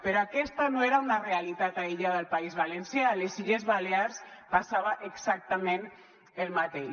però aquesta no era una realitat aïllada del país valencià a les illes balears passava exactament el mateix